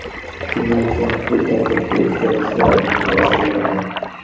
Shundan so‘ng hududda katta o‘zgarishlar amalga oshiriladi.